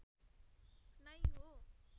नै हो